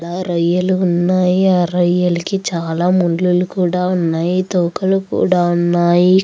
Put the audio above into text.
ఆ రొయ్యలు ఉన్నాయి ఆ రొయ్యలకి చాలా ముల్లులు కూడా ఉన్నాయి. తోకలు కూడా ఉన్నాయి.